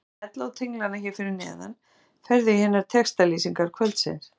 Með því að smella á tenglana hér að neðan ferðu í hinar textalýsingar kvöldsins.